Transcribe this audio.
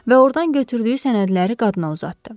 Və ordan götürdüyü sənədləri qadına uzatdı.